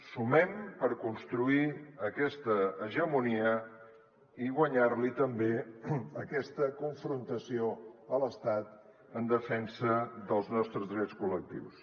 sumem per construir aquesta hegemonia i guanyar li també aquesta confrontació a l’estat en defensa dels nostres drets col·lectius